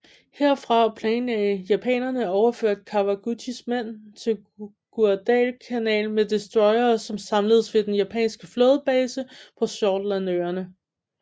Herfra planlagde japanerne at overføre Kawaguchis mænd til Guadalcanal med destroyere som samledes ved den japanske flådebase på Shortlandøerne